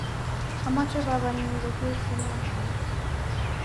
amoche babanyu koger sinemait.